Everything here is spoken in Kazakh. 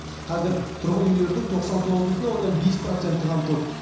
қазір тұрғын үйлердің тоқсан тоғыз бүтін оннан бес проценті қамтылды